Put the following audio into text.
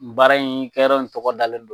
Baara in kɛrɔrɔ in tɔgɔ dalen don.